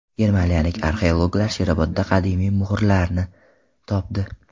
Germaniyalik arxeologlar Sherobodda qadimiy muhrlarni topdi.